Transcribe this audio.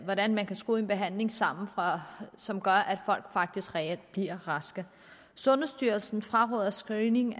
hvordan man kan skrue en behandling sammen som gør at folk faktisk reelt bliver raske sundhedsstyrelsen fraråder screening